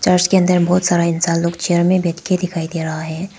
Church के अंदर बहुत सारा इंसान लोग चेयर में बैठके दिखाई दे रहा है।